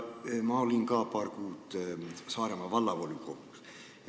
Ma olin ka paar kuud Saaremaa Vallavolikogus.